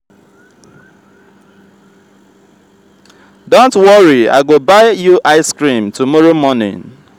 don't worry i go buy you ice cream tomorrow morning..